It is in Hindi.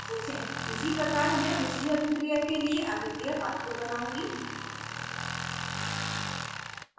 इसी प्रकार मैं पिछली अभिक्रिया के लिए अभिक्रिया pathway बनाउंगी